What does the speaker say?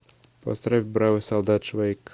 поставь бравый солдат швейк